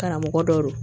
Karamɔgɔ dɔw